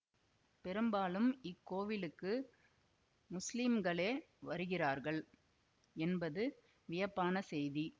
பெரும்பாலும் இக்கோவிலுக்கு முஸ்லீம்களே வருகிறார்கள் என்பது வியப்பான செய்தி